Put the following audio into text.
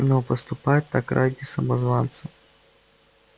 но поступать так ради самозванца